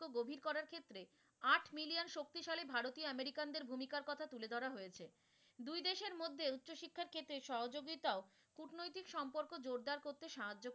ফলে ভারতীয় মার্কিন দের ভূমিকার কথা তুলে ধরা হয়েছে, দুই দেশের মধ্যে উচ্চ শিক্ষার ক্ষেত্রে সহযোগিতাও কূটনৈতিক সম্পর্ক জোরদার করতে সাহায্য,